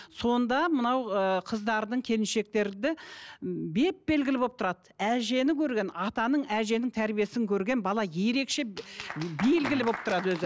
сонда мынау ыыы қыздардың келіншектерде беп белгілі болып тұрады әжені көрген атаның әженің тәрбиесін көрген бала ерекше белгілі болып тұрады өзі